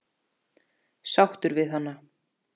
Sáttur við hana?